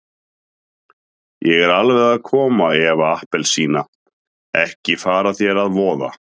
Ég er alveg að koma Eva appelsína, ekki fara þér að voða.